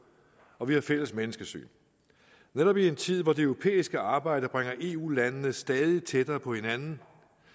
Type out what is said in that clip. og vi har et fælles menneskesyn netop i en tid hvor det europæiske arbejde bringer eu landene stadig tættere på hinanden